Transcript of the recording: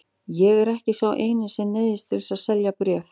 Ég er ekki sá eini sem neyðist til að selja bréf.